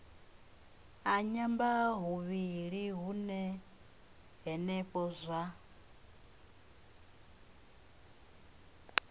a nyambahuvhili hune henefho zwa